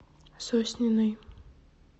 сосниной